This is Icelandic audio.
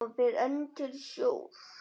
Hann fer enn til sjós.